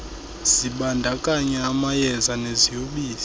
zibandakanya amayeza neziyobisi